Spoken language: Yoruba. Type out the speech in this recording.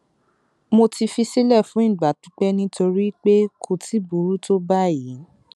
mo ti fi sílẹ fún ìgbà pípẹ nítorí pé kò tíì burú tó báyìí